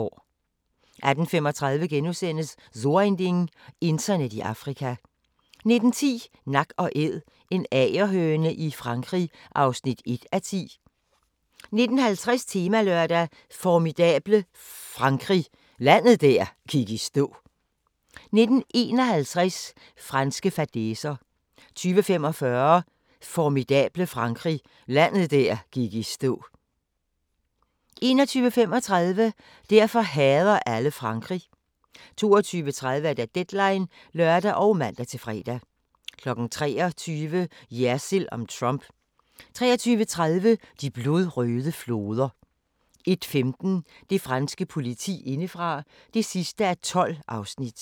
18:35: So ein Ding: Internet i Afrika * 19:10: Nak & Æd – en agerhøne i Frankrig (1:10) 19:50: Temalørdag: Formidable Frankrig – landet der gik i stå 19:51: Franske fadæser 20:45: Formidable Frankrig – landet der gik i stå 21:35: Derfor hader alle Frankrig 22:30: Deadline (lør og man-fre) 23:00: Jersild om Trump 23:30: De blodrøde floder 01:15: Det franske politi indefra (12:12)